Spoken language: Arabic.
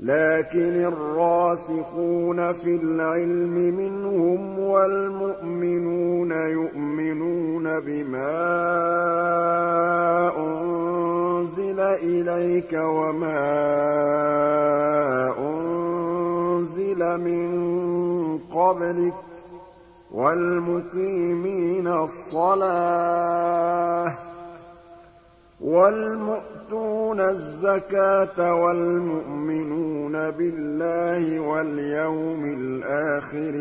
لَّٰكِنِ الرَّاسِخُونَ فِي الْعِلْمِ مِنْهُمْ وَالْمُؤْمِنُونَ يُؤْمِنُونَ بِمَا أُنزِلَ إِلَيْكَ وَمَا أُنزِلَ مِن قَبْلِكَ ۚ وَالْمُقِيمِينَ الصَّلَاةَ ۚ وَالْمُؤْتُونَ الزَّكَاةَ وَالْمُؤْمِنُونَ بِاللَّهِ وَالْيَوْمِ الْآخِرِ